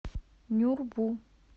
нюрбу